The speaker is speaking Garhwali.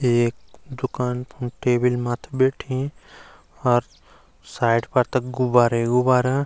एक दूकान फुण्ड टेबिल मत्थि बैठीं अर साइड फर तख गुबारे ही गुबारा।